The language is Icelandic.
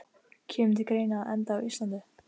Kemur til greina að enda á Íslandi?